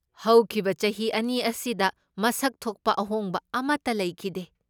ꯍꯧꯈꯤꯕ ꯆꯍꯤ ꯑꯅꯤ ꯑꯁꯤꯗ ꯃꯁꯛ ꯊꯣꯛꯄ ꯑꯍꯣꯡꯕ ꯑꯃꯇ ꯂꯩꯈꯤꯗꯦ꯫